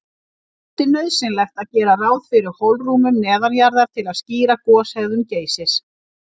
Hann taldi nauðsynlegt að gera ráð fyrir holrúmum neðanjarðar til að skýra goshegðun Geysis.